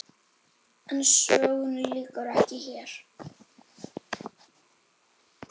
En sögunni lýkur ekki hér.